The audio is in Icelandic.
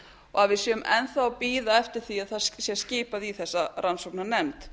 að við séum enn þá að bíða eftir að það sé skipað í þessa rannsóknarnefnd